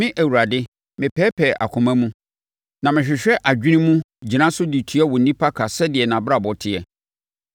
“Me Awurade, mepɛɛpɛɛ akoma mu na mehwehwɛ adwene mu, gyina so de tua onipa ka sɛdeɛ nʼabrabɔ teɛ.”